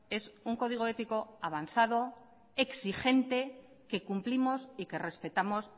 es un código ético avanzado exigente que cumplimos y que respetamos